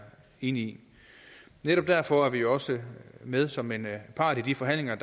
enig i netop derfor er vi jo også med som en part i de forhandlinger